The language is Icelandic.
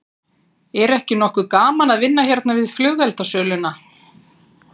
Er ekki nokkuð gaman að vinna hérna við flugeldasöluna?